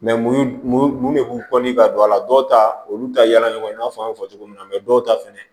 mun de b'u ka don a la dɔw ta olu ta yala ɲɔgɔn na fɔ an y'a fɔ cogo min na dɔw ta fɛnɛ